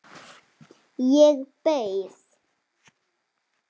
Ég beið.